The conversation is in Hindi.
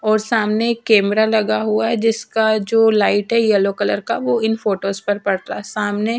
और सामने एक कैमरा लगा हुआ है। जिसका जो लाइट है येलो कलर का वह इन फोटोस पर पड़ता है सामने--